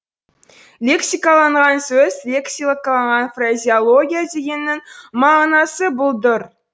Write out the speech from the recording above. лексикаланған сөз лексикаланған фразеология дегеннің мағынасы бұлдыр